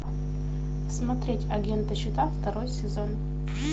смотреть агента щита второй сезон